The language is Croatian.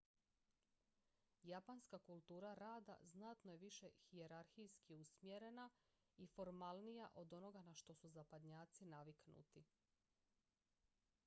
japanska kultura rada znatno je više hijerarhijski usmjerena i formalnija od onoga na što su zapadnjaci naviknuti